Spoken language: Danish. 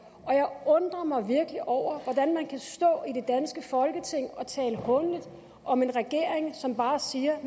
og jeg undrer mig virkelig over hvordan man kan stå i folketing og tale hånligt om en regering som bare siger at